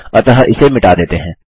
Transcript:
अतः इसे मिटा देते हैं